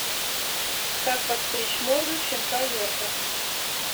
как подстричь морду щенка йорка